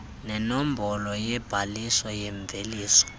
nenombolo yobhaliso yemveliso